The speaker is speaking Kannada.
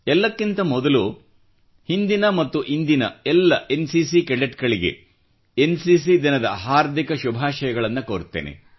ಎಲ್ಲಕ್ಕಿಂತ ಮೊದಲು ಹಿಂದಿನ ಮತ್ತು ಇಂದಿನ ಎಲ್ಲ ಎನ್ ಸಿಸಿ ಕೆಡೆಟ್ ಗಳಿಗೆ ಎನ್ ಸಿಸಿ ದಿನದ ಹಾರ್ದಿಕ ಶುಭಾಷಯಗಳನ್ನು ಕೋರುತ್ತೇನೆ